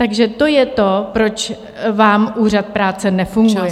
Takže to je to, proč vám Úřad práce nefunguje.